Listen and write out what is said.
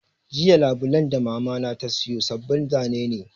Jiya Labulen da Mamana ta sayo sabbin zane ne